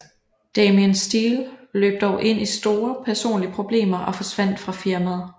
Damien Steele løb dog ind i store personlige problemer og forsvandt fra firmaet